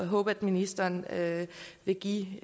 håbe ministeren vil give